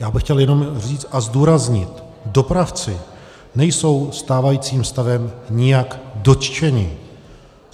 Já bych chtěl jenom říct a zdůraznit, dopravci nejsou stávajícím stavem nijak dotčeni.